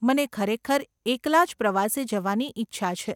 મને ખરેખર એકલા જ પ્રવાસે જવાની ઈચ્છા છે.